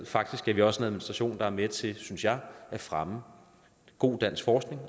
faktisk er vi også en administration der er med til at fremme god dansk forskning